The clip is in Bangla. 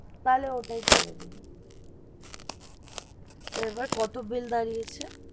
তাহলে, ওটাই করে দিন তো এবার কত bill দাঁড়িয়েছে?